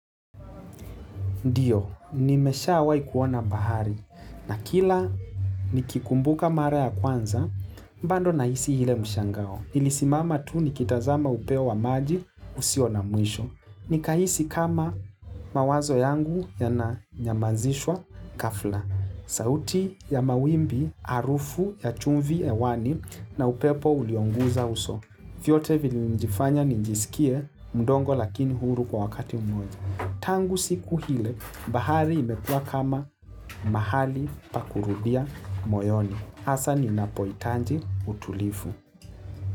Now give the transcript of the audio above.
Ndiyo, nimeshawai kuona bahari na kila nikikumbuka mara ya kwanza, bado nahisi ile mshangao. Ilisimama tu nikitazama upeo wa maji usio na mwisho. Nikahisi kama mawazo yangu yananyamazishwa ghafla. Sauti ya mawimbi, harufu ya chumvi hewani na upeo ulioguza uso. Vyote vilinifanya ninjisikie, mdogo lakini huru kwa wakati mmoja. Tangu siku ile bahari imekua kama mahali pa kurudia moyoni. Hasa linapohitaji utulivu.